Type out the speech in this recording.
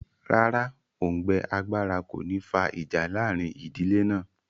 Rárá, òùngbẹ agbára kò ní fa ìjà láàrin ìdílé náà